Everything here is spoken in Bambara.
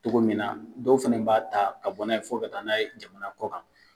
Cogo min na dɔw fɛnɛ b'a ta ka bɔ n'a ye fo ka taa n'a ye jamana kɔ kan.